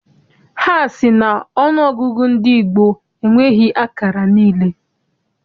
Ha sị na ọnụọgụgụ ndị gboo enweghị akara niile.